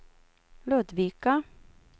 Ludvika